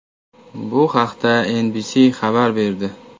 Bu haqda NBC xabar berdi .